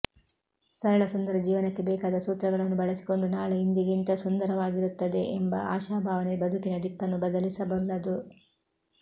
ಸರಳ ಸುಂದರ ಜೀವನಕ್ಕೆ ಬೇಕಾದ ಸೂತ್ರಗಳನ್ನು ಬಳಸಿಕೊಂಡು ನಾಳೆ ಇಂದಿಗಿಂತ ಸುಂದರ ವಾಗಿರುತ್ತದೆ ಎಂಬ ಆಶಾಭಾವನೆ ಬದುಕಿನ ದಿಕ್ಕನ್ನು ಬದಲಿಸಬಲ್ಲದು